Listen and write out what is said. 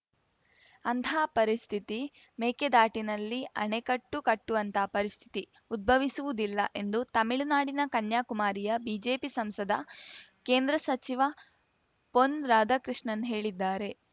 ಅಂಥ ಪರಿಸ್ಥಿತಿ ಮೇಕೆದಾಟಿನಲ್ಲಿ ಅಣೆಕಟ್ಟು ಕಟ್ಟುವಂಥ ಪರಿಸ್ಥಿತಿ ಉದ್ಭವಿಸುವುದಿಲ್ಲ ಎಂದು ತಮಿಳುನಾಡಿನ ಕನ್ಯಾಕುಮಾರಿಯ ಬಿಜೆಪಿ ಸಂಸದ ಕೇಂದ್ರ ಸಚಿವ ಪೊನ್‌ ರಾಧಾಕೃಷ್ಣನ್‌ ಹೇಳಿದ್ದಾರೆ